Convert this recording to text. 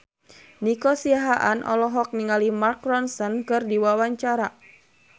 Nico Siahaan olohok ningali Mark Ronson keur diwawancara